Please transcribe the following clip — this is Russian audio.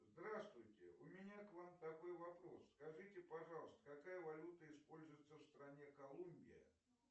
здравствуйте у меня к вам такой вопрос скажите пожалуйста какая валюта используется в стране колумбия